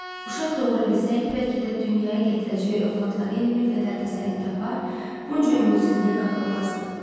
Uşaq doğura bilsəydi, bəlkə də dünyaya gətirəcəyi övladları ilə bir qədər təsəlli tapar, bunca ümidsizliyə qapılmazdı.